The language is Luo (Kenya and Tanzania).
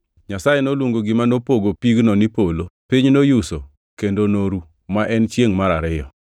Nyasaye noluongo gima nopogo pigno ni “polo.” Piny noyuso kendo noru, ma en chiengʼ mar ariyo.